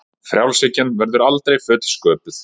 Frjálshyggjan verður aldrei fullsköpuð